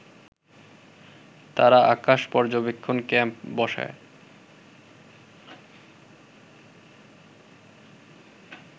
তারা আকাশ পর্যবেক্ষণ ক্যাম্প বসায়